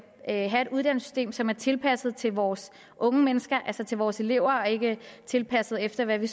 have et uddannelsessystem som er tilpasset til vores unge mennesker altså til vores elever og ikke tilpasset efter hvad vi